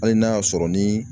Hali n'a y'a sɔrɔ ni